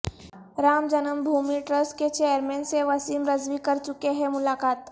رام جنم بھومی ٹرسٹ کے چیئرمین سے وسیم رضوی کرچکے ہیں ملاقات